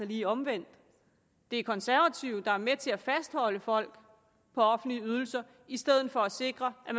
lige omvendt det er konservative der er med til at fastholde folk på offentlige ydelser i stedet for at sikre at